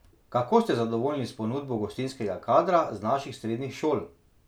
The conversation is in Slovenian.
Kako ste zadovoljni s ponudbo gostinskega kadra z naših srednjih šol?